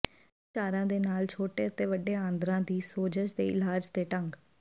ਲੋਕ ਉਪਚਾਰਾਂ ਦੇ ਨਾਲ ਛੋਟੇ ਅਤੇ ਵੱਡੇ ਆਂਦਰਾਂ ਦੀ ਸੋਜਸ਼ ਦੇ ਇਲਾਜ ਦੇ ਢੰਗ